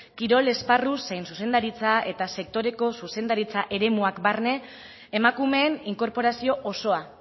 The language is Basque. kirol esparru zein zuzendaritza eta sektoreko zuzendaritza eremuak barne emakumeen inkorporazio osoa